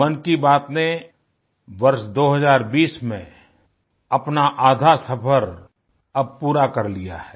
मन की बात ने वर्ष 2020 में अपना आधा सफ़र अब पूरा कर लिया है